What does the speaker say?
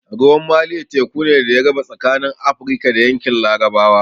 Ruwan Maliya teku ne da ya raba tsakanin Afrika da yankin larabawa